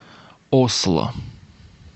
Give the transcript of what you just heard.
осло